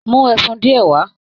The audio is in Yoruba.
Mú ẹfun diẹ wá!